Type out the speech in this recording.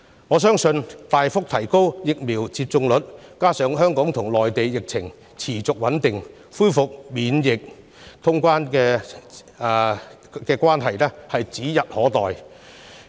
我相信大幅提升疫苗接種率，加上香港和內地疫情持續穩定，恢復免檢疫通關是指日可待。